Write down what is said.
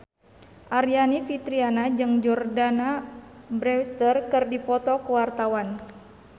Aryani Fitriana jeung Jordana Brewster keur dipoto ku wartawan